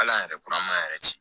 Hal'an yɛrɛ kura m'a yɛrɛ ci